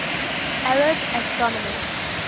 arab astronomers